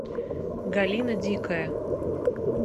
галина дикая